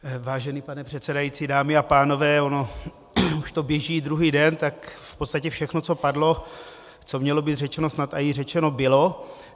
Vážený pane předsedající, dámy a pánové, ono už to běží druhý den, tak v podstatě všechno, co padlo, co mělo být řečeno, snad i řečeno bylo.